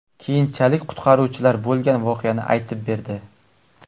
Keyinchalik qutqaruvchilar bo‘lgan voqeani aytib berdi.